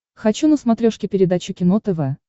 хочу на смотрешке передачу кино тв